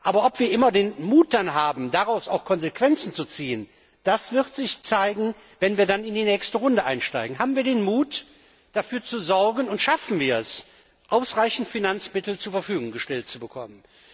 Aber ob wir dann immer den Mut haben, daraus auch Konsequenzen zu ziehen, das wird sich zeigen, wenn wir in die nächste Runde einsteigen. Haben wir den Mut, dafür zu sorgen, und schaffen wir es, ausreichend Finanzmittel zur Verfügung gestellt zu bekommen?